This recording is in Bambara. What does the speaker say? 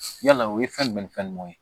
Yala o ye fɛn jumɛn ni fɛn ɲuman ye